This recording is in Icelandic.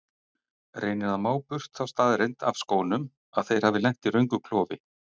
Reynir að má burt þá staðreynd af skónum að þeir hafi lent í röngu klofi.